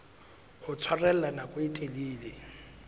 ho tshwarella nako e telele